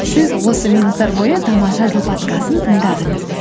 сіз осы минуттар бойы тамаша жыл подкастын тыңдадыңыз